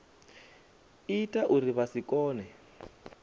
ita uri vha si kone